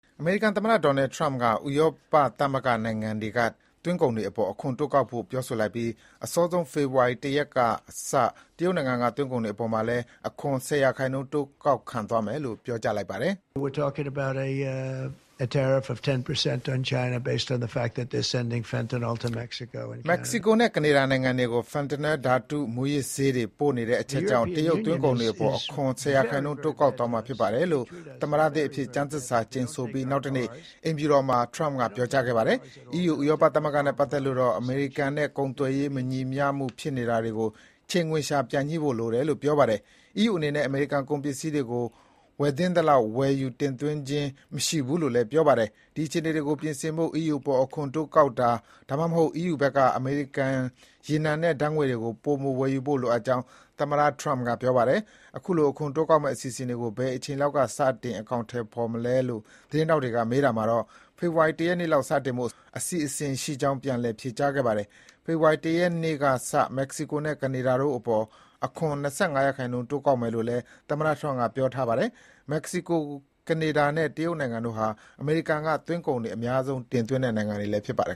အမေရိကန်သမ္မတ Donald Trump က ဥရောပသမဂ္ဂ နိုင်ငံတွေက သွင်းကုန်တွေအပေါ် အခွန်တိုးကောက်ဖို့ ပြောဆိုလိုက်ပြီး၊ အစောဆုံး ဖေဖော်ဝါရီ ၁ ရက်ကစ တရုတ်နိုင်ငံက သွင်းကုန်တွေအပေါ်မှာလည်း အခွန် ၁၀% တိုး ကောက်ခံသွားမယ်လို့ ပြောကြားလိုက်ပါတယ်။ “မက္ကဆီကိုနဲ့ ကနေဒါနိုင်ငံတွေကို Fentanyl ဓာတုမူးယစ်ဆေးတွေ ပို့နေတဲ့အချက်ကြောင့် တရုတ် သွင်းကုန်တွေအပေါ် အခွန် ၁၀% တိုးကောက်သွားမှာဖြစ်ပါတယ်” - လို့ သမ္မတသစ်အဖြစ် ကျမ်းသစ္စာကျိန်ဆိုပြီး နောက်တနေ့ အိမ်ဖြူတော်မှာ သမ္မတ Trump က ပြောခဲ့တာပါ။ အီးယူ - ဥရောပသမဂ္ဂနဲ့ပတ်သက်လို့တော့ အမေရိကန်နဲ့ ကုန်သွယ်ရေးမညီမျှမှု ဖြစ်ပေါ်နေတာကို ချိန်ခွင်လျှာပြန်ညှိဖို့လိုတယ်လို့ ပြောပါတယ်။ အီးယူအနေနဲ့ အမေရိကန်ကုန်ပစ္စည်းတွေကို ဝယ်သင့်သလောက် ဝယ်ယူ တင်သွင်းခြင်းမရှိဘူးလို့လည်း ပြောပါတယ်။ ဒီအခြေအနေကို ပြင်ဆင်ဖို့ အီးယူအပေါ် အခွန်တိုးကောက်တာ၊ ဒါမှမဟုတ် အီးယူဘက်က အမေရိကန် ရေနံနဲ့ ဓာတ်ငွေ့ကို ပိုမို ဝယ်ယူဖို့ လိုအပ်ကြောင်း သမ္မတ Trump က ပြောပါတယ်။ အခုလို အခွန်တိုးကောက်မယ့်ကိစ္စတွေကို ဘယ်အချိန်လောက် စတင်အကောင်အထည်မလဲလို့သတင်းထောက်တွေက မေးတာမှာတော့ ဖေဖော်ဝါရီ ၁ ရက်နေ့လောက် စတင်ဖို့ စီစဉ်ထားကြောင်း ပြန်လည် ဖြေကြားခဲ့ပါတယ်။ ဖေဖော်ဝါရီ ၁ ရက်နေ့ကစ မက္ကဆီကိုနဲ့ ကနေဒါတို့အပေါ် အခွန် ၂၅% တိုးကောက်မယ်လို့လည်း သမ္မတ Trump ကပြောထားတာပါ။ မက္ကဆီကို၊ ကနေဒါနဲ့ တရုတ်နိုင်ငံတို့ဟာ အမေရိကန်က သွင်းကုန်တွေ အများဆုံး တင်သွင်းတဲ့ နိုင်ငံတွေလည်း ဖြစ်ပါတယ်